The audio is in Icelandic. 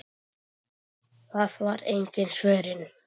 Það var engin svörun.